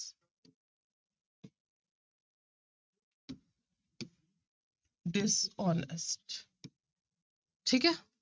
Dishonest ਠੀਕ ਹੈ।